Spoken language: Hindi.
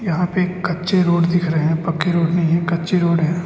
यहां पे कच्चे रोड दिख रहे हैं पक्के रोड नहीं है कच्चे रोड है।